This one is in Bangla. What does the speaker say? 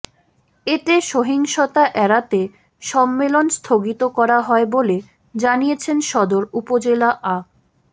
এতে সহিংসতা এড়াতে সম্মেলন স্থগিত করা হয় বলে জানিয়েছেন সদর উপজেলা আ